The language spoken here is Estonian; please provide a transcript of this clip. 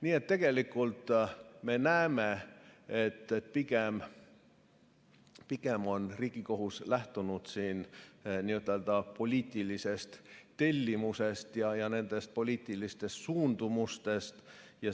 Nii et tegelikult me näeme, et pigem on Riigikohus lähtunud siin n‑ö poliitilisest tellimusest ja poliitilistest suundumustest.